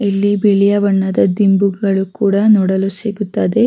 ಇಲ್ಲಿ ಬಿಳಿಯ ಬಣ್ಣದ ದಿಂಬುಗಳು ಕೂಡ ನೋಡಲು ಸಿಗುತ್ತದೆ --